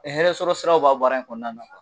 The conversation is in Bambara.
Ɛ hɛrɛsɔrɔsiraw b'a baara in kɔnɔna na